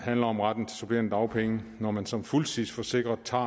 handler om retten til supplerende dagpenge når man som fuldtidsforsikret tager